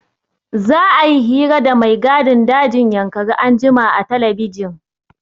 Za'a yi hira da mai gadin dajin Yankari anjima a telebijin.